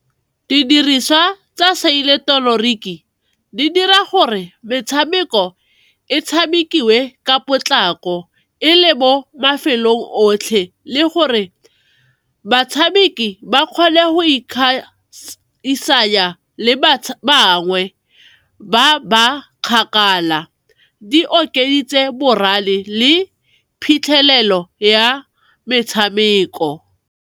Didiriswa tsa di dira gore metshameko e tshamekiwe ka potlako e le bo mafelong otlhe le gore batshameki ba kgwele go bangwe ba ba kgakala, di okeditse morale le phitlhelelo ya metshameko.